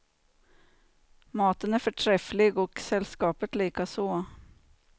Maten är förträfflig och sällskapet likaså.